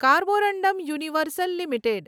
Carborundum Universal limited